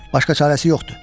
Başqa çarəsi yox idi.